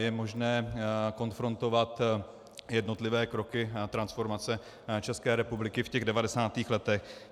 Je možné konfrontovat jednotlivé kroky transformace České republiky v těch 90. letech.